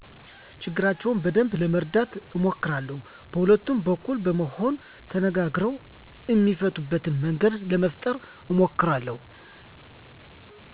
ችግራቸውን በደንብ ለመረዳት አሞክራለው በሁለቱም በኩል በመሆን ተነጋግረው እሚፈቱበትን መንገድ ለመፈጠረ አሞክራለሁ